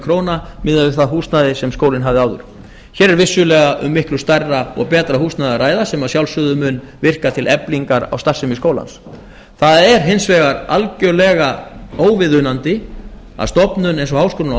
króna miðað við það húsnæði sem skólinn hafði áður hér er vissulega um miklu stærra og betra húsnæði að ræða sem að sjálfsögðu mun virka til eflingar á starfsemi skólans það er hins vegar algjörlega óviðunandi að stofnun eins og háskólinn